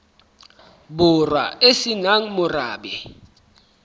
borwa e se nang morabe